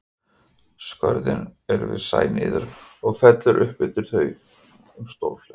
Skörðin eru við sæ niður og fellur upp undir þau um stórflæði.